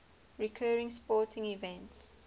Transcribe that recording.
recurring sporting events